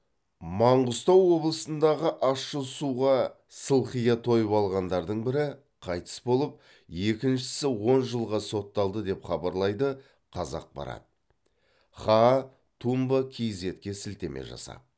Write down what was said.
маңғыстау облысындағы ащы суға сылқия тойып ағандардың бірі қайтыс болып екіншісі он жылға сотталды деп хабарлайды қазақпарат хаа тумб кизетке сілтеме жасап